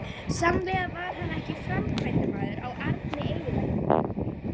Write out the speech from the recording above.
Sannlega var hann ekki framkvæmdamaður á arni eyðileggingarinnar.